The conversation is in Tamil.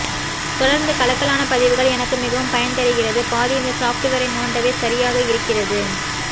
தொடர்ந்து கலக்கலான பதிவுகள் எனக்கு மிகவும் பயன் தருகிறது பாதி இந்த சாஃப்ட்வேரை நோண்டவே சரியாக இருக்கிறது